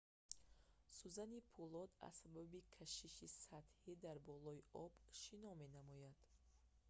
сӯзани пӯлод аз сабаби кашиши сатҳӣ дар болои об шино менамояд